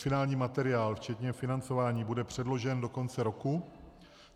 Finální materiál včetně financování bude předložen do konce roku.